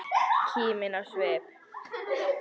Kímin á svip.